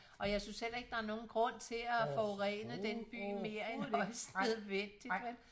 Og jeg synes heller ikke der er nogen grund til at forurene den by mere end højst nødvendigt vel